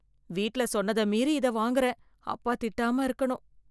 வீட்டுல சொன்னத மீறி இத வாங்குறேன். அப்பா திட்டாம இருக்கணும்.